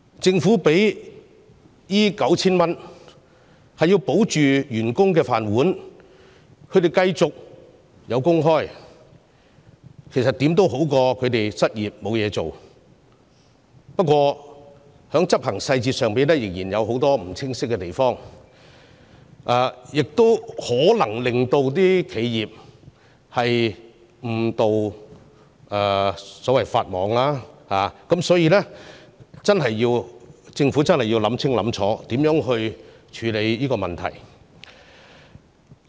政府提供這項上限為 9,000 元的工資補貼，目的是要保住員工的"飯碗"，讓他們繼續有工開——這總比失業好——不過，"保就業"計劃的執行細節仍有很多不清晰的地方，企業可能因而誤墮法網，所以，政府真的要考慮清楚如何處理那些問題。